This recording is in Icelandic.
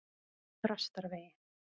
Þrastarvegi